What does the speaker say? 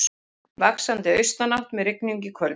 Vaxandi austanátt með rigningu í kvöld